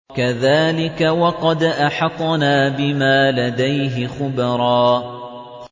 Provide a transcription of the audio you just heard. كَذَٰلِكَ وَقَدْ أَحَطْنَا بِمَا لَدَيْهِ خُبْرًا